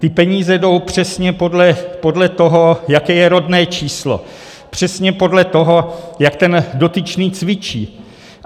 Ty peníze jdou přesně podle toho, jaké je rodné číslo, přesně podle toho, jak ten dotyčný cvičí.